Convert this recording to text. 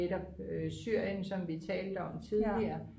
netop Syrien som vi talte om tidligere